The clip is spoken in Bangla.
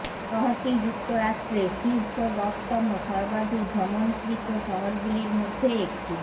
শহরটি যুক্তরাষ্ট্রে শীর্ষ দশতম সর্বাধিক ভ্রমণকৃত শহরগুলির মধ্যে একটি